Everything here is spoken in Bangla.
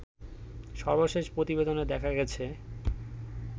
সর্বশেষ প্রতিবেদনে দেখা গেছে